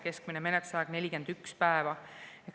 Keskmine menetlusaeg on 41 päeva.